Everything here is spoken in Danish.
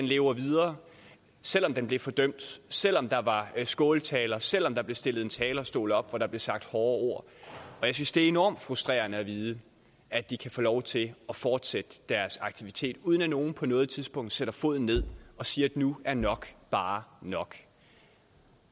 lever videre selv om den blev fordømt selv om der var skåltaler selv om der blev stillet en talerstol op hvorfra der blev sagt hårde ord jeg synes det er enormt frustrerende at vide at de kan få lov til at fortsætte deres aktivitet uden at nogen på noget tidspunkt sætter foden ned og siger at nu er nok bare nok